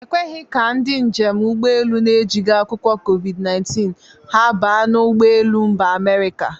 E kweghi ka ndị njem ụgbọelu na-ejigi akwụkwọ COVID-19 ha baa n'ụgbọ elu Mba Amerika.